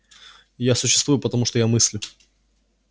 я существую потому что я мыслю